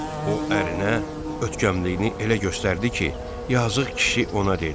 O ərinə ötkəmliyini elə göstərdi ki, yazıq kişi ona dedi: